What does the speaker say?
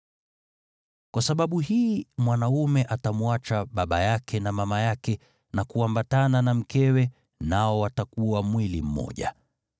Kwa sababu hii mwanaume atamwacha baba yake na mama yake na kuambatana na mkewe, nao watakuwa mwili mmoja.